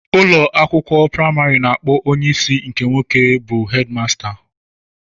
Ụlọ akwụkwọ praịmarị na-akpọ onye isi nke nwoke bụ 'headmaster'